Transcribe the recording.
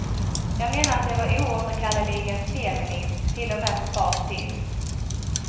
Jag menar att det var oåterkalleligen feminint, till och med på fars tid.